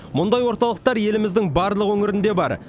мұндай орталықтар еліміздің барлық өңірінде бар